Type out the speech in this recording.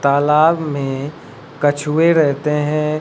तालाब में कछुए रहते हैं।